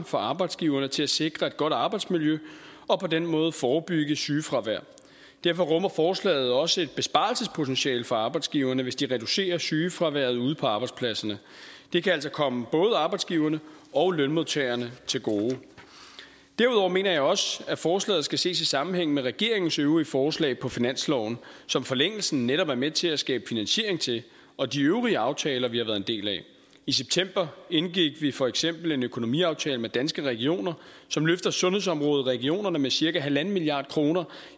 for arbejdsgiverne til at sikre et godt arbejdsmiljø og på den måde forebygge sygefravær derfor rummer forslaget også et besparelsespotentiale for arbejdsgiverne hvis de reducerer sygefraværet ude på arbejdspladserne det kan altså komme både arbejdsgiverne og lønmodtagerne til gode derudover mener jeg også at forslaget skal ses i sammenhæng med regeringens øvrige forslag på finansloven som forlængelsen netop er med til at skabe finansiering til og de øvrige aftaler vi har været en del af i september indgik vi for eksempel en økonomiaftale med danske regioner som løfter sundhedsområdet i regionerne med cirka en milliard kroner